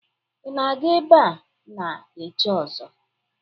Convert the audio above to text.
Ị na-aga ebe a na-echi ọzọ?